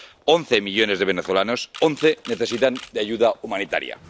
Once millones de venezolanos, once, necesitan ayuda humanitaria.